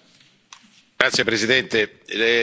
Signor Presidente, onorevoli colleghi,